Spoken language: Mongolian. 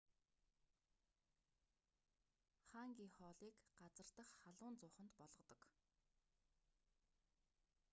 ханги хоолыг газар дахь халуун зууханд болгодог